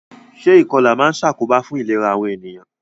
Se ìkolà ma n sàkóbá fun ìlera àwon ènìyàn